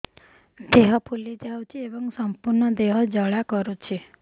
ଦେହ ଫୁଲି ଯାଉଛି ଏବଂ ସମ୍ପୂର୍ଣ୍ଣ ଦେହ ଜ୍ୱାଳା କରୁଛି